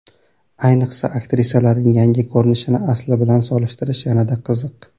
Ayniqsa, aktrisalarning yangi ko‘rinishini asli bilan solishtirish yanada qiziq.